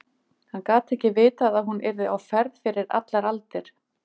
Hann gat ekki vitað að hún yrði á ferð fyrir allar aldir.